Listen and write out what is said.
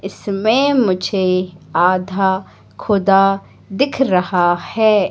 इसमें मुझे आधा खुदा दिख रहा है।